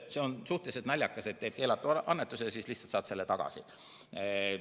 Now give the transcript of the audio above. See on suhteliselt naljakas, et teed keelatud annetuse ja siis lihtsalt saad selle tagasi.